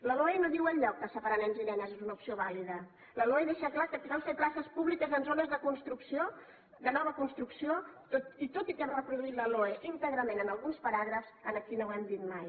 la loe no diu enlloc que separar nens i nenes és una opció vàlida la loe deixa clar que cal fer places públiques en zones de nova construcció i tot i que hem reproduït la loe íntegrament en alguns paràgrafs aquí no ho hem dit mai